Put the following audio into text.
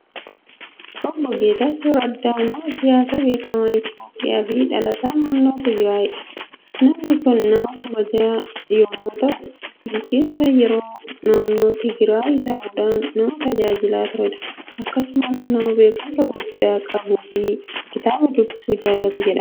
Obbo Geetaachoo Raddaa nama siyaasaa beekamaa Itoophiyaa fi dhalataa naannoo Tigiraayidha. Namni kun nama jabaa yommuu ta'u, bulchiinsa yeroo naannoo Tigiraayi ta'uudhaan nama tajaajilaa turedha. Akkasumas nama beekumsa guddaa qabuu fi kitaaba dubbisuu jaallatu jedhama.